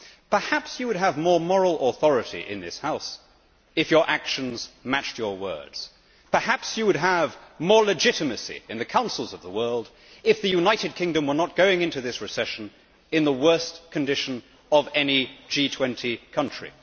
Perhaps you would have more moral authority in this House if your actions matched your words. Perhaps you would have more legitimacy in the councils of the world if the United Kingdom were not going into this recession in the worst condition of any G20 country.